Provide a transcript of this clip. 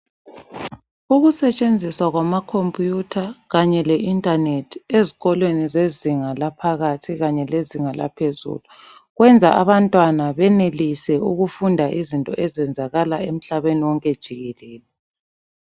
Ukusetshenziswa kwamakhompiyutha kanye le intanethi ezikolweni zezinga laphakathi kanye lezinga laphezulu. Kwenza abantwana benelise ukufunda izinto ezenzakalayo emhlabeni wonke jikelele.